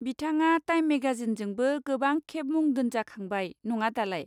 बिथाङा टाइम मेगाजिनजोंबो गोबां खेब मुं दोनजाखांबाय, नङा दालाय।